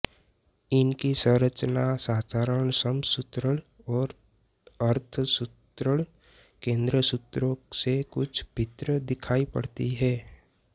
इनकी संरचना साधारण समसूत्रण और अर्धसूत्रण केंद्रसूत्रों से कुछ भिन्न दिखाई पड़ती है